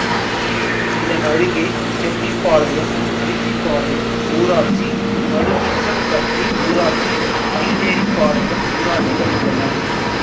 இதனருகே செட்டிபாளையம் அரிசிபாளையம் ஊராட்சி மலுமிச்சம்பட்டி ஊராட்சி மயிலேறிபாளையம் ஊராட்சிகள் உள்ளன